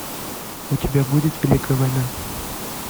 у тебя будет великая война